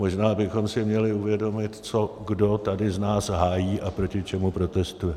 Možná bychom si měli uvědomit, co kdo tady z nás hájí a proti čemu protestuje.